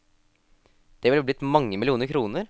Det ville blitt mange millioner kroner?